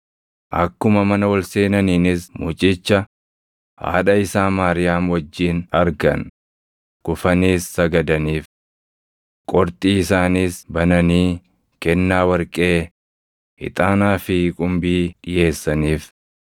Akkuma mana ol seenaniinis mucicha, haadha isaa Maariyaam wajjin argan; kufaniis sagadaniif. Qorxii isaaniis bananii kennaa warqee, ixaanaa fi qumbii dhiʼeessaniif.